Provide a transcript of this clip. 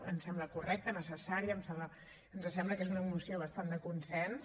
ens sembla correcte necessari ens sembla que és una moció bastant de consens